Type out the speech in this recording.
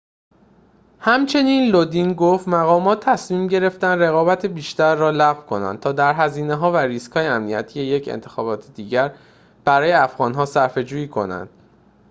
همچنین لودین گفت مقامات تصمیم گرفتند رقابت بیشتر را لغو کنند تا در هزینه‌ها و ریسک‌های امنیتی یک انتخابات دیگر برای افغان‌ها صرفه‌جویی کنند